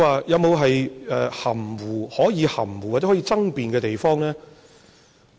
有沒有可以含糊，或者可以爭辯的地方？